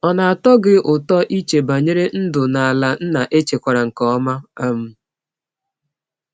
Ọ na-atọ gị ụtọ iche banyere ndụ n’ala nna echekwara nke ọma? um